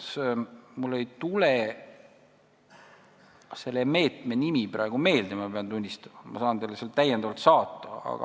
Ma pean tunnistama, et mulle ei tule selle meetme nimi praegu meelde, aga ma saan selle teile saata.